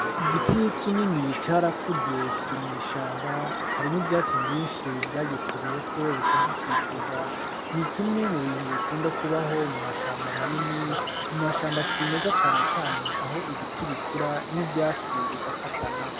Igiti kinini carakuze kiri mwishamba hari n'ivyatsi vyishi vyagikuriyeko biragikikiza n'ikimwe m'ubintu bikunda kubaho mumashamba manini, mumashamba cimeza cane cane aho ibiti bikura n'ivyatsi bigafatana .